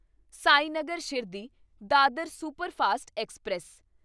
Sainagar Shirdi Dadar superfast express